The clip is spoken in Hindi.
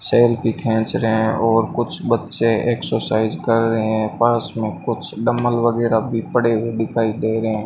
सेल्फी खेंच रहे हैं और कुछ बच्चे एक्सरसाइज कर रहे हैं पास में कुछ डंबल वगैरह भी पड़े हुए दिखाई दे रहे हैं।